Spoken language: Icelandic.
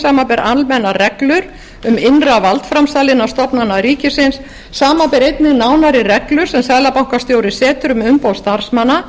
samanber almennar reglur um innra valdframsal innan stofnana rikisins samanber einnig nánari reglur sem seðlabankastjóri setur um umboð starfsmanna